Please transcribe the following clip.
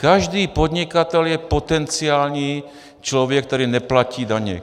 Každý podnikatel je potenciální člověk, který neplatí daně.